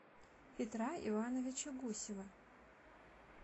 петра ивановича гусева